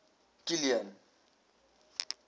kilian